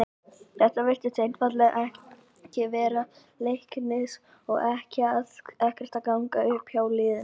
Þetta virtist einfaldlega ekki vera dagur Leiknis og ekkert að ganga upp hjá liðinu.